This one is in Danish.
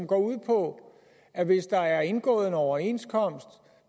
går ud på at hvis der er indgået en overenskomst